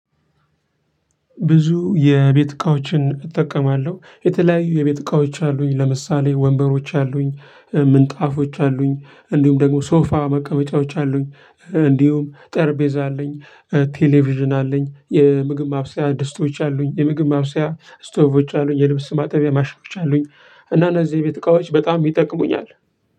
ብዙ የቤት እቃዎችን እጠቀማለሁ። የተለያዩ የቤት እቃዎች አሉኝ ለምሳሌ ወንበሮች አሉኝ፣ ምንጣፎች አሉኝ፣ እንዲሁም ደግሞ ሶፋ መቀመጫዎች አሉኝ፣ እንዲሁም ጠርጴዛ አለኝ፣ ቴሌቪዥን አለኝ፣ የምግብ ማብሰያ ድስጦች አሉኝ፣ የምግብ ማብሰያ ስቶቮች አሉኝ፣ የልብስ ማጠቢያ ማሽኖች አሉኝ፣ እና እነዚህ የቤት እቃዎች በጣም ይጠቅሙኛል።